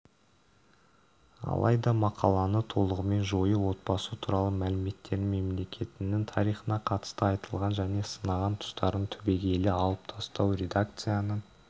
алайда мақаланы толығымен жою отбасы туралы мәліметтерін мемлекетінің тарихына қатысты айтылған және сынаған тұстарын түбегейлі алып тастау редакцияның